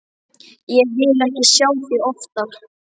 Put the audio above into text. Ég vil ekki sjá þig oftar.